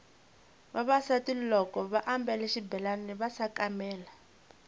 vavasati loko vambale xibelani va sakamela